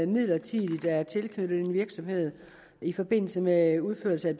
midlertidigt er tilknyttet en virksomhed i forbindelse med udførelsen af